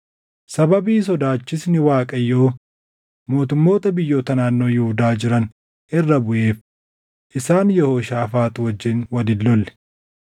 Sababii sodaachisni Waaqayyoo mootummoota biyyoota naannoo Yihuudaa jiran irra buʼeef isaan Yehooshaafaax wajjin wal hin lolle.